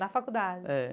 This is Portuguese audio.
Da faculdade? É.